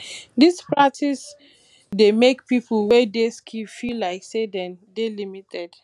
this practice dey make pipo wey dey skilled feel like sey dem dey limited